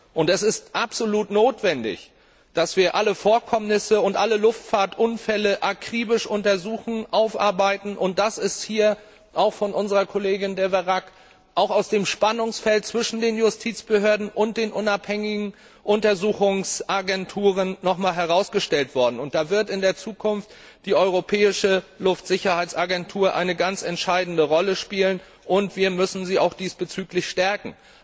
Und es ist absolut notwendig, dass wir alle Vorkommnisse und alle Luftfahrtunfälle akribisch untersuchen, aufarbeiten, und das ist hier auch von unserer Kollegin De Veyrac auch aus dem Spannungsfeld zwischen den Justizbehörden und den unabhängigen Untersuchungsagenturen noch einmal herausgestellt worden. Da wird in der Zukunft die Europäische Luftsicherheitsagentur eine ganz entscheidende Rolle spielen, und wir müssen sie auch diesbezüglich stärken.